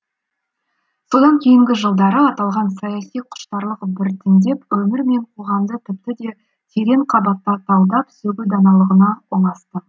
содан кейінгі жылдары аталған саяси құштарлық біртіндеп өмір мен қоғамды тіпті де терең қабатта талдап сөгу даналығына ұласты